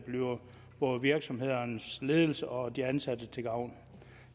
bliver både virksomhedernes ledelser og de ansatte til gavn